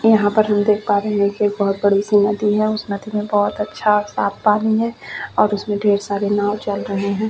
यहाँ पर हम देख पा रहे है की एक बोहत बड़ी सी नदी है उस नदी में बहुत अच्छा साफ पानी है और उसमें ढेर सारे नाव चल रहे है।